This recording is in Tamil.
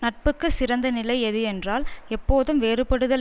நட்புக்கு சிறந்த நிலை எது என்றால் எப்போதும் வேறுபடுதல்